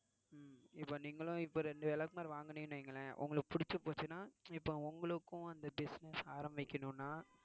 உம் இப்ப நீங்களும் இப்ப ரெண்டு விளக்குமாறு வாங்குனீங்கன்னு வைங்களேன் உங்களுக்கு புடிச்சி போச்சுனா இப்ப உங்களுக்கும் அந்த business ஆரம்பிக்கணும்னா